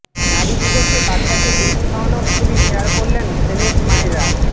নারী দিবসে বাচ্চাকে দুধ খাওয়ানোর ছবি শেয়ার করলেন সেলেব মায়েরা